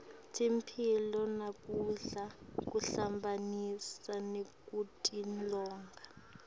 temphilo nekudla kuhambisana nekutilolonga